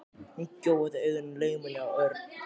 Hún gjóaði augunum laumulega á Örn.